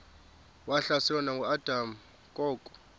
wahlaselwa nanguadam kok